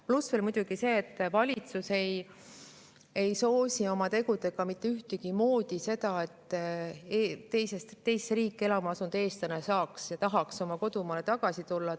Pluss muidugi see, et valitsus ei soosi oma tegudega mitte kuidagimoodi seda, et teise riiki elama asunud eestlane saaks ja tahaks kodumaale tagasi tulla.